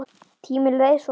Tíminn leið svo hratt.